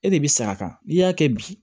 E de bi sa a kan n'i y'a kɛ bi